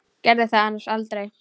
Gerði það annars aldrei.